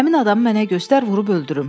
Həmin adamı mənə göstər vurub öldürüm.